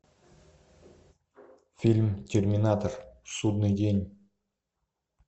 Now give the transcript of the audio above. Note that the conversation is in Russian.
фильм терминатор судный день